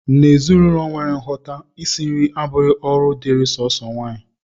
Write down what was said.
N'ezinụlọ nwere nghọta, isi nri abụghị ọrụ dịịrị sọọsọ nwaanyị